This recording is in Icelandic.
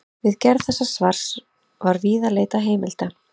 Við gerð þessa svars var víða leitað heimilda.